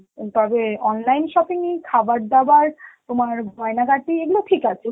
তবে online shopping এ খাবারদাবার তোমার গয়না গাটি, এইগুলো ঠিক আছে